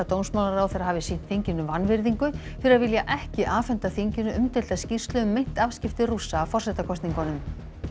dómsmálaráðherra hafi sýnt þinginu vanvirðingu fyrir að vilja ekki afhenda þinginu umdeilda skýrslu um meint afskipti Rússa af forsetakosningunum